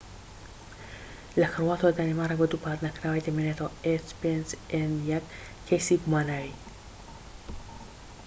کەیسی گوماناوى h5n1 لە کرواتیا و دانیمارک بە دووپات نەکراویی دەمێنێتەوە